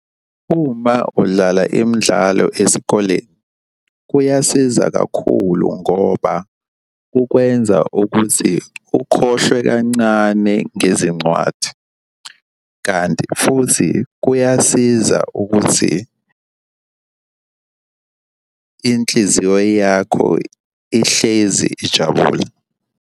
Uma udlala imidlalo esikoleni, kuyasiza kakhulu ngoba ukwenza ukuthi ukhohlwe kancane ngezincwadi, kanti futhi kuyasiza ukuthi inhliziyo yakho ihlezi ijabule.